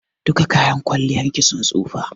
Duka kayan kwalliyar ki sun tsofa.